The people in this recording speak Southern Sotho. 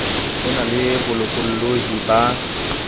ho na le bolokollohi ba